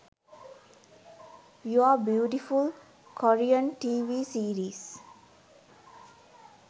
you are beautiful korean tv series